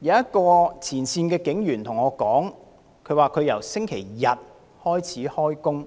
有一位前線警務人員告訴我，他由星期日開始連續工